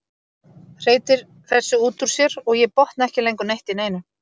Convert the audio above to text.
Hreytir þessu út úr sér og ég botna ekki lengur neitt í neinu.